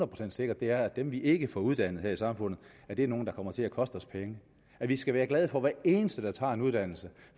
procent sikkert er at de vi ikke får uddannet i samfundet er nogle der kommer til at koste os penge vi skal være glade for hver eneste der tager en uddannelse